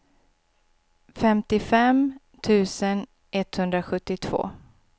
femtiofem tusen etthundrasjuttiotvå